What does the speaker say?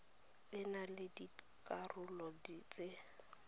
e na le dikarolo tse